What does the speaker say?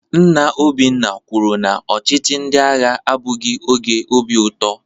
Nna Obinna kwuru na ọchịchị ndị agha abụghị oge obi ụtọ